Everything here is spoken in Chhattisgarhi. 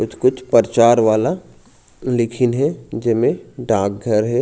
कुछ-कुछ परचार वाला लिखिन हे जिमे डाक घर हे।